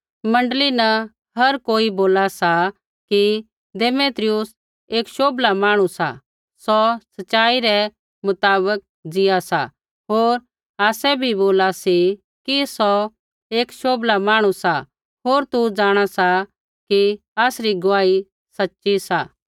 मण्डली न हर कोई बोला सा कि देमेत्रियुस एक शोभला मांहणु सा सौ सच़ाई रै मुताबक ज़ीआ सा होर आसै भी बोला सी कि सौ एक शोभला मांहणु सा होर तू जाँणा सा कि आसरी गुआही सच़ी सा